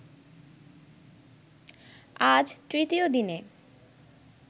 আজ তৃতীয় দিনে